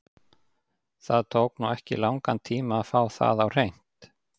Það tók nú ekki langan tíma að fá það á hreint.